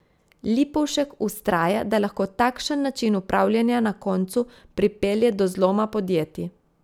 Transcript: Lipovšek vztraja, da lahko takšen način upravljanja na koncu pripelje do zloma podjetij.